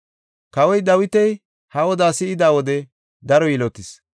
Kawoy Dawiti ha odaa si7ida wode daro yilotis.